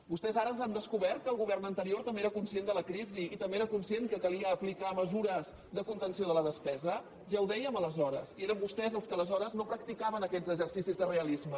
vostès ara han descobert que el govern anterior també era conscient de la crisi i també era conscient que calia aplicar mesures de contenció de la despesa ja ho dèiem aleshores i eren vostès els que aleshores no practicaven aquests exercicis de realisme